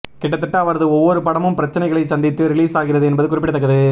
கிட்டத்தட்ட அவரது ஒவ்வொரு படமும் பிரச்சனைகளை சந்தித்து ரிலீஸ் ஆகிறது என்பது குறிப்பிடத்தக்கது